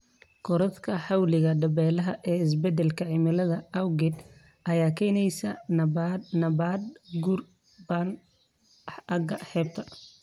Korodhka xawliga dabaylaha ee isbeddelka cimilada awgeed ayaa keenaysa nabaad-guur ba'an aagga xeebta.